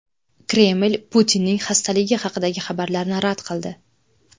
Kreml Putinning xastaligi haqidagi xabarlarni rad qildi.